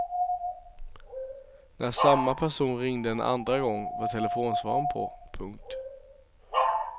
När samma person ringde en andra gång var telefonsvararen på. punkt